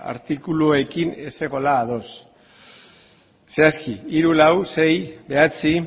artikuluekin ez zegoela ados zehazki hiru lau sei bederatzi